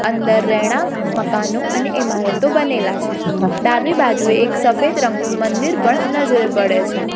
અંદર રહેણાક મકાનો અને ઇમારતો બનેલા છે ડાબી બાજુએ એક સફેદ રંગનું મંદિર પણ નજરે પડે છે.